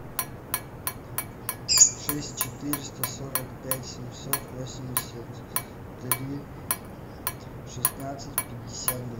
шесть четыреста сорок пять семьсот восемьдесят три шестнадцать пятьдесят два